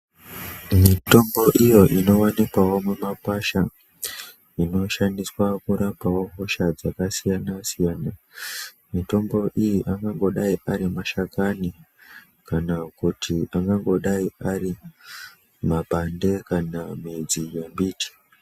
Mitombo iyo inowanikwavo mumakwasha inoshandiswa kurapawo hosha dzakasiyana siyana .Mitombo iyi angangodai ari mashakani kana kuti angangodai ari mabande kana midzi yembiti .